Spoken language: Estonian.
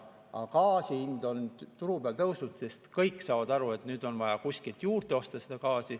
Aga gaasi hind turu peal on tõusnud, sest kõik saavad aru, et nüüd on vaja gaasi kuskilt juurde osta.